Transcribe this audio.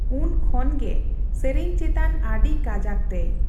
ᱩᱱ ᱠᱷᱚᱱ ᱜᱮ ᱥᱮᱨᱮᱧ ᱪᱮᱛᱟᱱ ᱟᱰᱹᱤ ᱠᱟᱡᱟᱠ ᱛᱮᱭ᱾